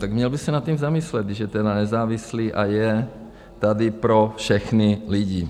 Tak měl by se nad tím zamyslet, když je tedy nezávislý a je tady pro všechny lidi.